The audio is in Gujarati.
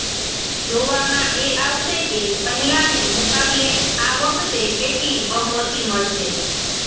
જોવામાં એ આવશે કે પહેલાને મુકાબલે આ વખતે કેટલી બહુમતી મળશે